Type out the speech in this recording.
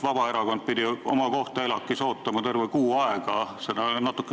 Vabaerakond pidi oma kohta ELAK-is ootama terve kuu aega, seda on liiga palju.